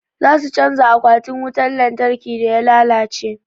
Za su canja akwatin wutan lantarkin da ya lalace.